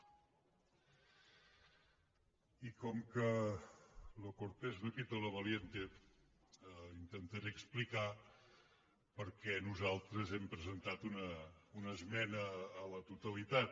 i com que lo cortés no quita lo valienteplicar per què nosaltres hem presentat una esmena a la totalitat